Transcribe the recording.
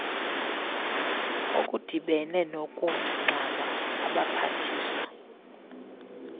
okudibene nokungxama abaphathiswa